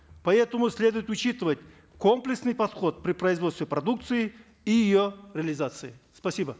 поэтому следует учитывать комплексный подход при производстве продукции и ее реализации спасибо